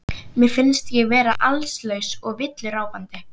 Mér finnst ég vera allslaus og villuráfandi.